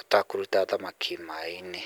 ũtakũruta thamaki maĩ-inĩ.